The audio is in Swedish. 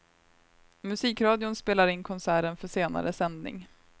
Musikradion spelar in konserten för senare sändning.